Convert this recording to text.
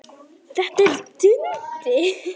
Þetta er Dundi!